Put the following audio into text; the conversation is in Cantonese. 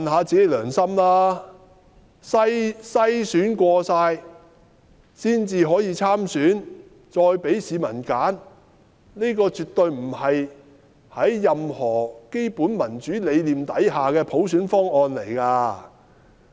經篩選的人才可以參選，再給市民選擇，這絕對不是在任何基本民主理念之下的普選方案。